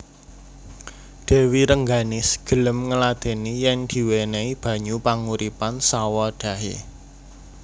Dèwi Rengganis gelem ngladèni yèn diwènèhi banyu panguripan sawadhahé